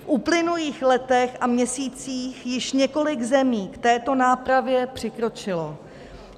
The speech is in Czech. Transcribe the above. V uplynulých letech a měsících již několik zemí k této nápravě přikročilo.